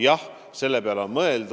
Jah, selle peale on mõeldud.